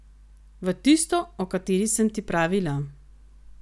V tisto, o kateri sem ti pravila?